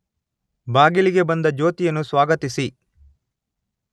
ಬಾಗಿಲಿಗೆ ಬಂದ ಜ್ಯೋತಿಯನ್ನು ಸ್ವಾಗತಿಸಿ